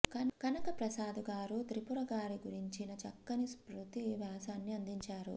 కనకప్రసాదు గారు త్రిపుర గారి గురించిన చక్కని స్మృతి వ్యాసాన్ని అందించారు